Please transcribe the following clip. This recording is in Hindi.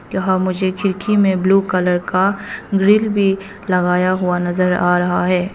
यहां मुझे खिड़की में ब्लू कलर का ग्रिल भी लगाया हुआ नजर आ रहा है।